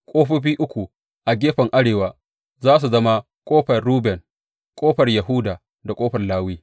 Ƙofofi uku a gefen arewa za su zama ƙofar Ruben, ƙofar Yahuda da ƙofar Lawi.